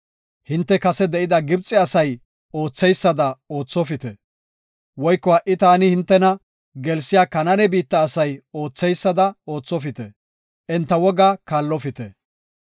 Hinte kase de7ida Gibxe asay ootheysada oothopite; woyko ha77i taani hintena gelsiya Kanaane biitta asay ootheysada oothopite; enta wogaa kaallopite.